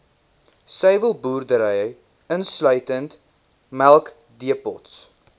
suiwelboerdery insluitend melkdepots